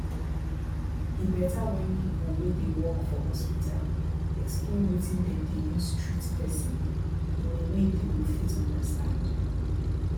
e better when people wey dey work for hospital explain wetin dem dey use treat person in a way dey go fit understand